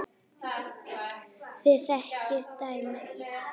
Þið þekkið dæmin.